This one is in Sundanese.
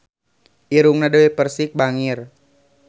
Irungna Dewi Persik bangir